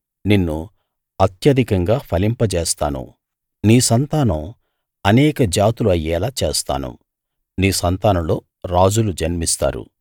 నిన్ను అత్యధికంగా ఫలింపజేస్తాను నీ సంతానం అనేక జాతులుఅయ్యేలా చేస్తాను నీ సంతానంలో రాజులు జన్మిస్తారు